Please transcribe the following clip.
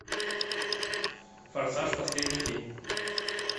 форсаж последний фильм